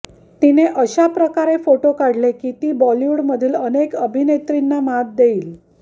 तिने अशाप्रकारे फोटो काढले की ती बॉलिवूडमधील अनेक अभिनेत्रींना मात देईल